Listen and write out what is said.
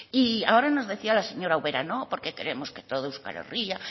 y ahora nos decía la señora ubera no porque queremos que todo euskal herria